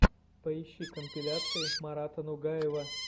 поищи компиляции марата нугаева